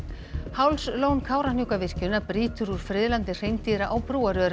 Hálslón Kárahnjúkavirkjunar brýtur úr friðlandi hreindýra á